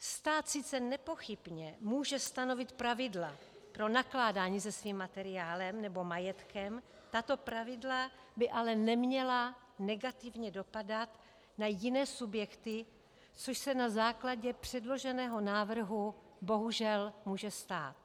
Stát sice nepochybně může stanovit pravidla pro nakládání se svým materiálem nebo majetkem, tato pravidla by ale neměla negativně dopadat na jiné subjekty, což se na základě předloženého návrhu bohužel může stát.